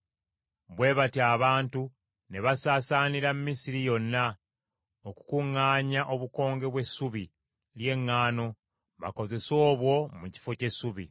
Bwe batyo abantu ne basaasaanira Misiri yonna okukuŋŋaanya obukonge bw’essubi ly’eŋŋaano bakozese obwo mu kifo ky’essubi.